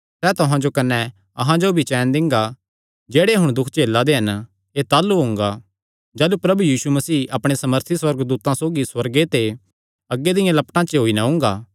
सैह़ तुहां जो कने अहां जो भी चैन दिंगा जेह्ड़े हुण दुख झेला दे हन एह़ ताह़लू हुंगा जाह़लू प्रभु यीशु मसीह अपणे सामर्थी सुअर्गदूतां सौगी सुअर्गे ते अग्गी दियां लपटां च होई नैं ओंगा